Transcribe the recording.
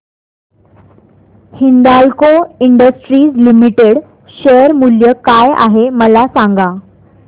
Hindalco Industries Limited share मूल्य काय आहे मला सांगा